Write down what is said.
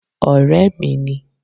Ọ̀rẹ́ mi ni